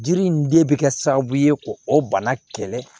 Jiri in de bɛ kɛ sababu ye k'o bana kɛlɛ